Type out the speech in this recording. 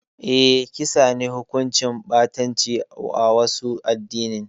Eh, kisa ne hukunci ɓatanci a wasu adinin